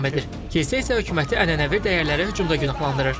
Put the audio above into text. Kilsə isə hökuməti ənənəvi dəyərlərə hücumda günahlandırır.